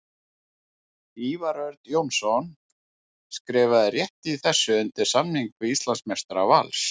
Ívar Örn Jónsson skrifaði rétt í þessu undir samning við Íslandsmeistara Vals.